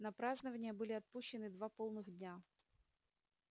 на празднования были отпущены два полных дня